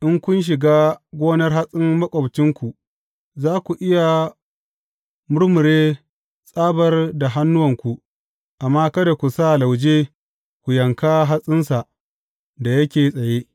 In kun shiga gonar hatsin maƙwabcinku, za ku iya murmure tsabar da hannuwanku, amma kada ku sa lauje ku yanka hatsinsa da yake tsaye.